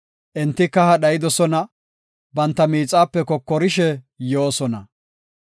Enti kaha dhayidosona; banta miixape kokorishe yoosona.